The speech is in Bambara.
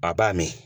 A b'a min